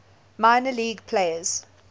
minor league players